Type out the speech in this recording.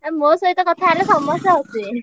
~ଆ ମୋ ସହିତ କଥା ହେଲେ ସମସ୍ତେ ହସିବେ।